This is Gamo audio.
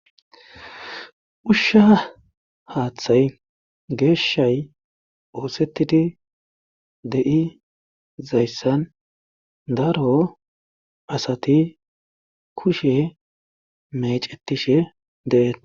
Haaththay geeshshay oosetidi de'izayssan daro asti kushe meecetishe de'etees.